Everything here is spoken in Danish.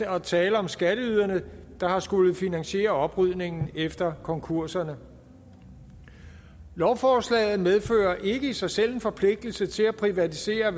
at tale om skatteyderne der har skullet finansiere oprydningen efter konkurserne lovforslaget medfører ikke i sig selv en forpligtelse til at privatisere